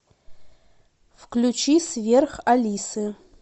включи сверх алисы